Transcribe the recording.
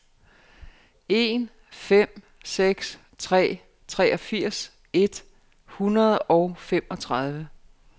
en fem seks tre treogfirs et hundrede og femogtredive